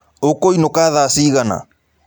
Ũkũĩnũka thaa cigana?